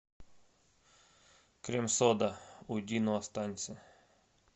крем сода уйди но останься